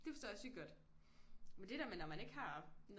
Det forstår jeg sygt godt men det der med når man ikke har noget